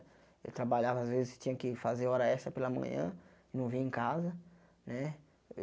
Eu trabalhava às vezes tinha que fazer hora extra pela manhã não vinha em casa né eh.